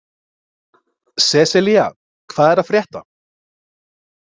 Seselía, hvað er að frétta?